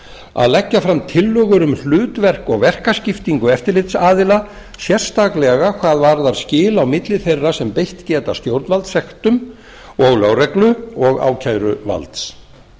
að leggja fram tillögur um hlutverk og verkaskiptingu eftirlitsaðila sérstaklega hvað varðar skil á milli þeirra sem beitt geta stjórnvaldssektum og lögreglu og ákæruvalds